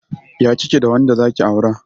Ya kike da wanda zaki aura?